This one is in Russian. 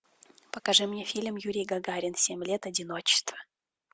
покажи мне фильм юрий гагарин семь лет одиночества